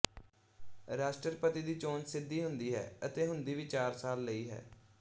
ਰਾਸ਼ਟਰਪਤੀ ਦੀ ਚੋਣ ਸਿੱਧੀ ਹੁੰਦੀ ਹੈ ਅਤੇ ਹੁੰਦੀ ਵੀ ਚਾਰ ਸਾਲ ਲਈ ਹੈ